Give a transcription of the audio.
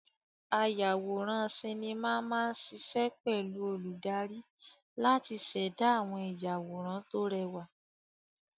Ayàwòrán sinimá máa ṣiṣẹ́ pẹ̀lú olùdarí láti ṣẹ̀dá àwọn ìyàwòrán tó rẹwà.